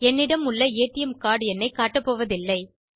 என்னிடம் உள்ள ATM card எண்ணைக் காட்டப்போவதில்லை